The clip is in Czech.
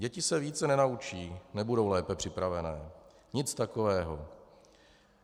Děti se více nenaučí, nebudou lépe připravené, nic takového.